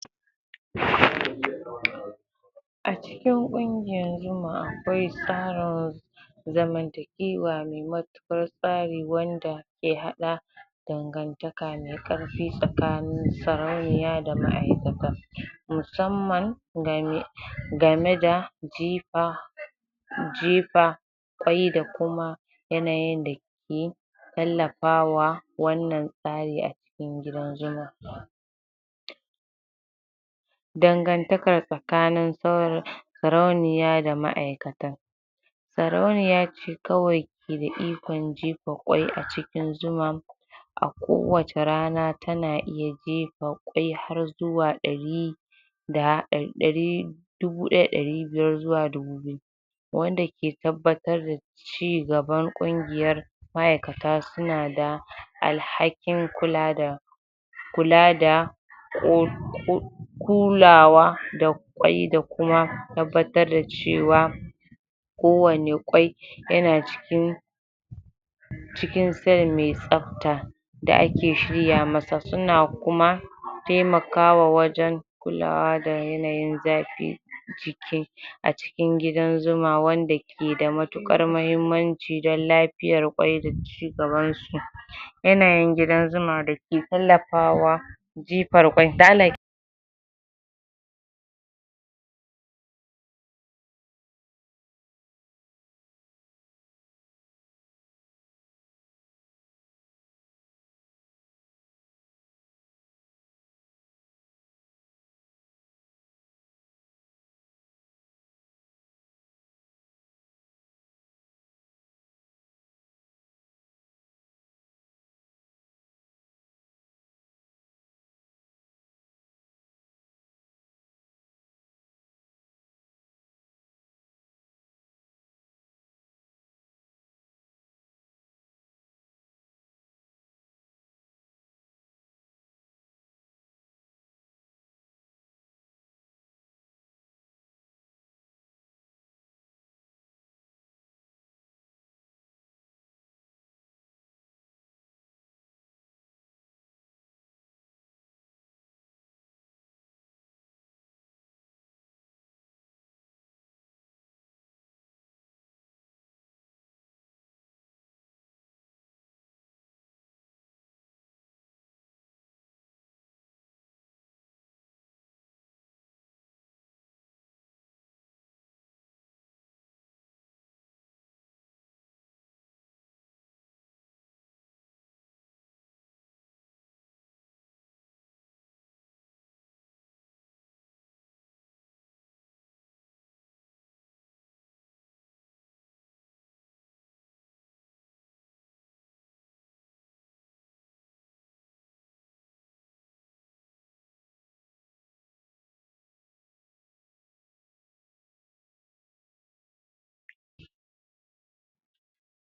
A cikin ƙungiyar jimma akwai tsarin zamantakewa mai mutukar tsari wanda ke haɗa dangantaka mai karfi tsakanin sarauniya da ma'ikata musamman game, game da jifa jifa kai da kuma yanayin da ke tallafa wa wannan tsarin a cikin gidan zuman dangantaka tsakanin sarauniya da ma'ikata sarauniya ce kawai ke da ikon jefa kwai acikin zuman a ko wacca rana tana iya jiefa kwai har zuwa ɗari da ɗari dubu ɗaya da ɗari biyar zuwa dubu biyu wanda ke tabbatar da cigaban ƙungiyar ma'ikata suna da alhakin kula da kula da kulawa da kwai da kuma tabbatar da cewa ko wani kwai yana cikin cikin tsayin mai tsafta da ake shirya masa suna kuma taimaka wa wajan kulawa da yanayin zafin jiki a cikin gidan zuma wanda ke da mutukar muhimmanci dan lafiyar kwai da cigabansu yanayin gidan zuma dake tallafawa jifar kwai